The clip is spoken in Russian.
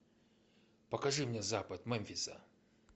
покажи мне запад мемфиса